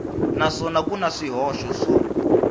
naswona ku na swihoxo swo